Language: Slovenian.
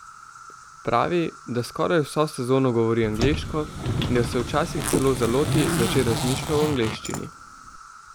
Pravi, da skoraj vso sezono govori angleško in da se včasih celo zaloti, da že razmišlja v angleščini.